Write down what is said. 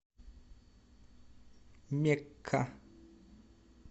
мекка